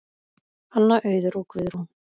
Anna, Auður og Guðrún.